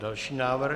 Další návrh.